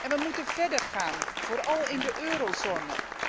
We moeten verder gaan, vooral in de eurozone.